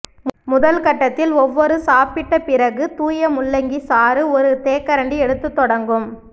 முதல் கட்டத்தில் ஒவ்வொரு சாப்பிட்ட பிறகு தூய முள்ளங்கி சாறு ஒரு தேக்கரண்டி எடுத்து தொடங்கும்